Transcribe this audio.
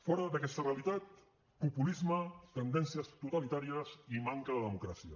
fora d’aquesta realitat populisme tendències totalitàries i manca de democràcia